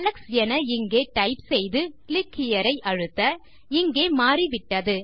Alex என இங்கே type செய்து கிளிக் ஹெரே ஐ அழுத்தஇங்கே மாறிவிட்டது